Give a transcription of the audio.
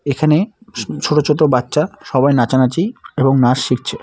এখানে স ছোট ছোট বাচ্চা সবাই নাচানাচি এবং নাচ শিখছে।